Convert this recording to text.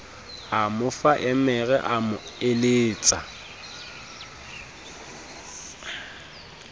ha mofammere a mo eletsa